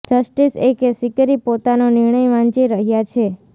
justice AK Sikri પોતાનો નિર્ણય વાંચી રહ્યાં છે